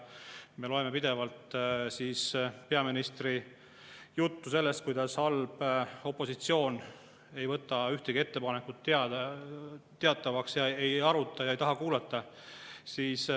Me loeme pidevalt peaministri juttu sellest, kuidas halb opositsioon ei võta ühtegi ettepanekut teatavaks, ei aruta ega taha kuulata.